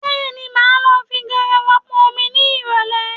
Bẹ́ẹ̀ni, mo máa lọ fi garawa pọn omi ní ìrọ̀lẹ̀